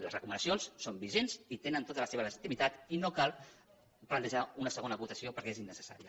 les recomanacions són vigents i tenen tota la seva legitimitat i no cal plantejar una segona votació perquè és innecessària